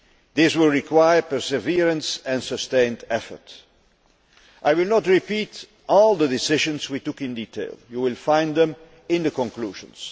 This will require perseverance and sustained effort. I will not repeat all the decisions we took in detail. You will find them in the conclusions.